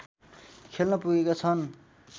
खेल्न पुगेका छन्